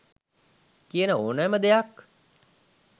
කියන ඕනෑම දෙයක්